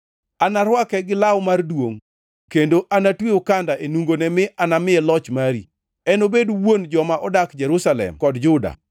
Anarwake gi law mar duongʼ kendo anatwe okanda e nungone mi anamiye loch mari. Enobed wuon joma odak Jerusalem kod Juda.